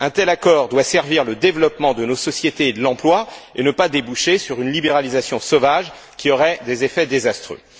Un tel accord doit servir le développement de nos sociétés et de l'emploi et ne pas déboucher sur une libéralisation sauvage qui aurait des effets désastreux.